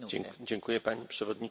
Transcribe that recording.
Pani Przewodnicząca!